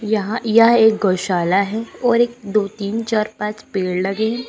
यहां यह एक गौशाला है और एक दो तीन चार पाँच पेड़ लगे हैं।